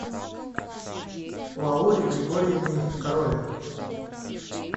лауре григорьевне короле